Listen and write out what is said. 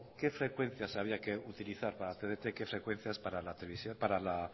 qué frecuencias había que utilizar para tdt qué frecuencias para